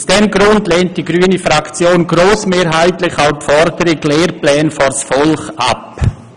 Aus diesem Grund lehnt die grüne Fraktion grossmehrheitlich auch die Forderung «Lehrpläne vors Volk!» ab.